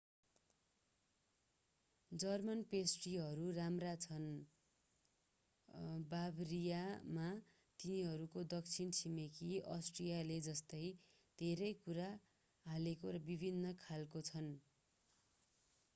German पेस्ट्रीहरू राम्रा छन् र बाभरियामा तिनीहरूको दक्षिणी छिमेकी अस्ट्रियाले जस्तै धेरै कुरा हालेको र विभिन्न खालका छन्